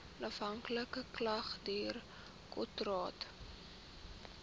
onafhanklike klagtedirektoraat